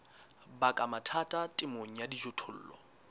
baka mathata temong ya dijothollo